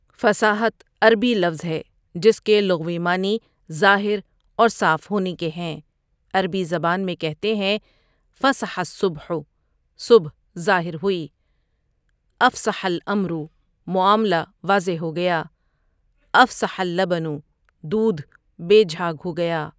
فصاحت عربی لفظ ہے جس کے لغوی معنی ظاہر اور صاف ہونے کے ہیں عربی زبان میں کہتے ہیں فَصَحَ الصبحُ صبح ظاہر ہوئی اَفْصَحَ الاَمرُ معاملہ واضح ہو گیا افصح اللبنُ دودھ بے جھاگ ہو گیا۔